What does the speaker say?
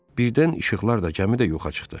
Birdən işıqlar da, gəmi də yoxa çıxdı.